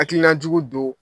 Hakilinajugu do